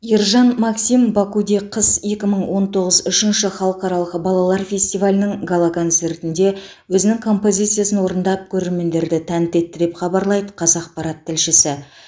ержан максим бакуде қыс екі мың он тоғыз үшінші халықаралық балалар фестивалінің гала концертінде өзінің композициясын орындап көрермендерді тәнті етті деп хабарлайды қазақпарат тілшісі